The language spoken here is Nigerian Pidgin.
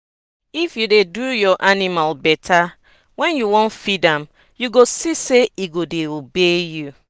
if you dey do your animal better wen you dey feed am you go see say e go dey obey you.